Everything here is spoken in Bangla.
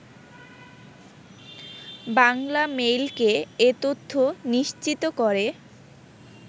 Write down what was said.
বাংলামেইলকে এ তথ্য নিশ্চিত করে